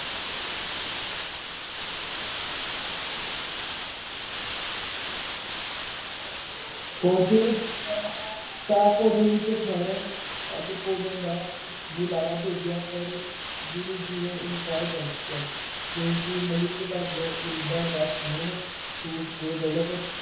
ਪਹੁੰਚੇ ਤਾਂ ਭੋਜਨ ਵਿੱਚ ਠਹਿਰਨ ਅਤੇ ਭੋਜਨ ਦਾ ਬੁਲਾਵਾ ਭੇਜਿਆ ਪਰ ਗੁ੍ਰੂ ਜੀ ਨੇ ਇਨਕਾਰ ਕਰ ਦਿੱਤਾ ਕਿਉਂਕਿ ਮਲਿਕ ਭਾਗੋ ਗਰੀਬਾਂ ਦਾ ਖੂਨ ਚੂਸ ਕੇ ਦੌਲਤ